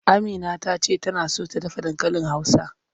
Amina ta ce tana so ta dafa dankalin Hausa.